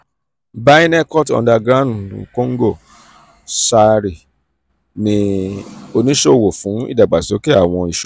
byrnecut underground congo sarl ni onisowo fun idagbasoke awọn